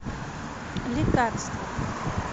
лекарство